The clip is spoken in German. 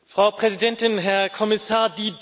Frau Präsidentin, Herr Kommissar!